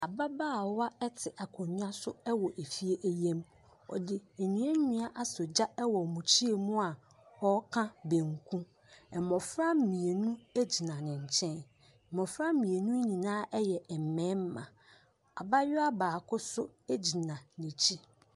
Ababaawa ɛtse akonya so ɛwɔ efie yie mu ɔde nduadua esɔ egya wɔ mukyia mu aa ɔka banku ɛmbɔfra mienu egyina no nkyɛn mbɔfra mienu no nyinaa ɛyɛ mbɛɛma abayewa sbbjo so egyina nekyi.